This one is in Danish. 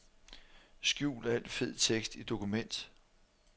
Skjul al fed tekst i dokument.